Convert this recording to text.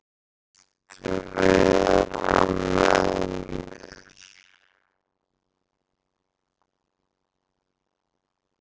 Viltu vera með mér?